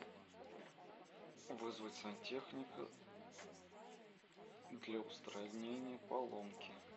вызвать сантехника для устранения поломки